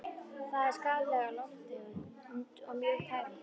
Það er skaðleg lofttegund og mjög tærandi.